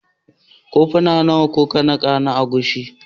Kofuna nawa na agushi kuka nika?